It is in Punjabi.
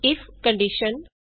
ਇਫਕੰਡੀਸ਼ਨstatement ਈਜੀ